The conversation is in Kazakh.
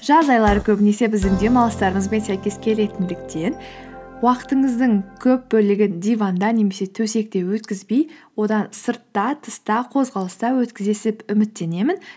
жаз айлары көбінесе біздің демалыстарымызбен сәйкес келетіндіктен уақытыңыздың көп бөлігін диванда немесе төсекте өткізбей одан сыртта тыста қозғалыста өткізесіз деп үміттенемін